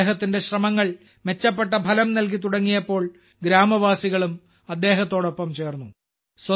അദ്ദേഹത്തിന്റെ ശ്രമങ്ങൾ മെച്ചപ്പെട്ട ഫലം നൽകി തുടങ്ങിയപ്പോൾ ഗ്രാമവാസികളും അദ്ദേഹത്തോടൊപ്പം ചേർന്നു